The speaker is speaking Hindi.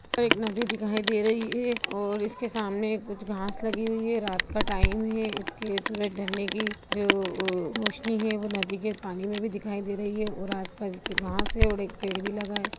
एक नदी दिखाई दे रही है और इसके सामने कुछ घास लगी हुई है रात का टाइम है इसके सूरज ढलने की जो वो रौशनी है वो नदी के पानी में भी दिखाई दे रही है और आस पास इसके घास है और एक पेड़ भी लगा है।